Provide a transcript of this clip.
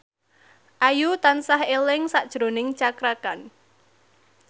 Ayu tansah eling sakjroning Cakra Khan